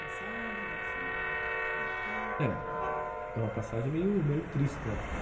passagem assim que te marcou? É, é uma passagem meio triste, porque